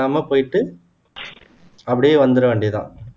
அப்படியே வந்துர வேண்டியதுதான்